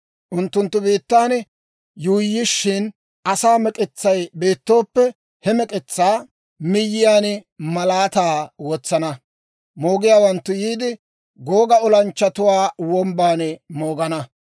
Unttunttu biittan yuuyyishina, asaa mek'etsay beettooppe, he mek'etsaa miyyiyaan malaataa wotsana. Moogiyaawanttu yiide, Googa Olanchchatuwaa Wombban moogana.